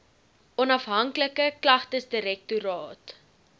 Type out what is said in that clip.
onhafhanklike klagtesdirek toraat